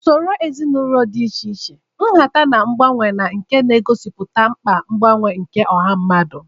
Usoro ezinaụlọ nke dị iche iche, nhata, na mgbanwe, na nke na-egosipụta mkpa mgbanwe nke ọha mmadụ